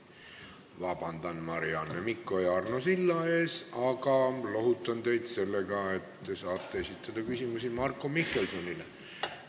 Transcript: Palun vabandust, Marianne Mikko ja Arno Sild, aga lohutan teid sellega, et te saate esitada küsimusi Marko Mihkelsonile.